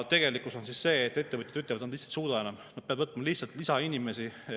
Tegelikkus on see, et ettevõtjad ütlevad, et nad ei suuda enam, nad peavad võtma lihtsalt lisainimesi.